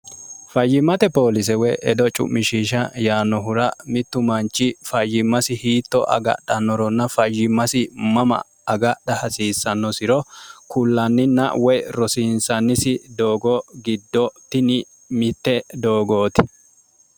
fayyimmate poolise woy edo cu'mishisha yaanohura mittu manchi fayyimmasi hiitto agadhannoronna fayyimmasi mama agadha hasiissannosiro kullanninna woy rosiinsannisi doogo giddo tini mitte doogooti